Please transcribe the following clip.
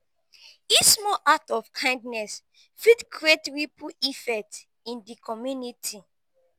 each small act of kindness fit create ripple effect in di community.